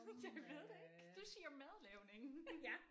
Jeg ved det ikke du siger madlavning